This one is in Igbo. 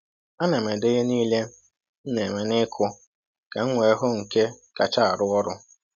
A na m ede ihe niile m na-eme n’ịkụ ka m wee hụ nke kacha arụ ọrụ.